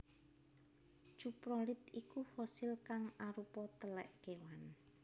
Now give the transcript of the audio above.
Cuprolit iku fosil kang arupa telek kewan